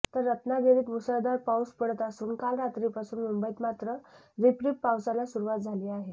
तर रत्नागिरीत मुसळधार पाऊस पडत असून काल रात्रीपासून मुंबईत मात्र रिपरिप पावसाला सुरुवात झाली आहे